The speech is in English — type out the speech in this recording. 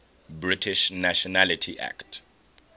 british nationality act